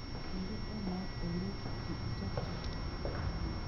Inde emait ole ki ichopchi.